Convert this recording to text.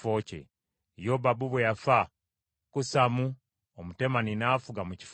Yobabu bwe yafa Kusamu Omutemani n’afuga mu kifo kye.